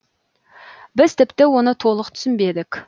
біз тіпті оны толық түсінбедік